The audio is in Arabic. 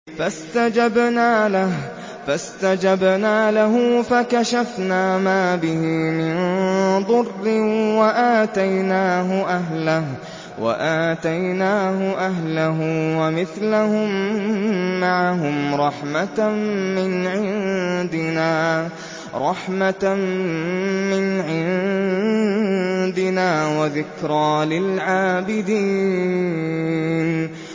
فَاسْتَجَبْنَا لَهُ فَكَشَفْنَا مَا بِهِ مِن ضُرٍّ ۖ وَآتَيْنَاهُ أَهْلَهُ وَمِثْلَهُم مَّعَهُمْ رَحْمَةً مِّنْ عِندِنَا وَذِكْرَىٰ لِلْعَابِدِينَ